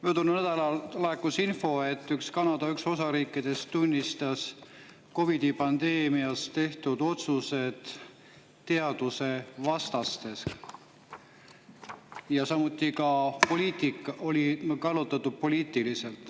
Möödunud nädalal laekus info, et üks Kanada osariikidest tunnistas COVID-i pandeemias tehtud otsused teadusvastasteks ja samuti oli poliitik poliitiliselt kallutatud.